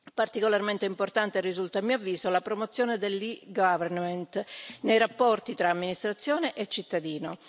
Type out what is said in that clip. Particolarmente importante risulta, a mio avviso, la promozione dell' e government nei rapporti tra amministrazione e cittadino.